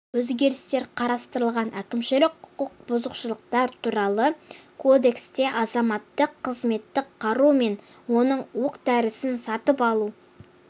өзгерістер қарастырылған әкімшілік құқық бұзушылықтар туралы кодексте азаматтық қызметтік қару мен оның оқ-дәрісін сатып алу